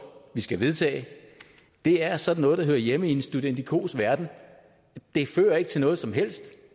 vi skal vedtage er sådan noget der hører hjemme i en studentikos verden det fører ikke til noget som helst